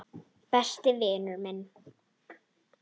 Besti vinur minn.